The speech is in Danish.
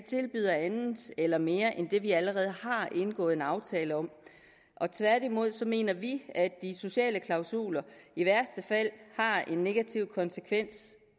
tilbyder andet eller mere end det vi allerede har indgået en aftale om tværtimod mener vi at de sociale klausuler i værste fald har en negativ konsekvens